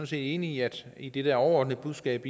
set enige i det overordnede budskab